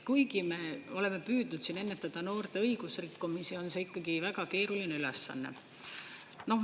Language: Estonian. Kuigi me oleme püüdnud ennetada noorte õigusrikkumisi, on see ikkagi väga keeruline ülesanne.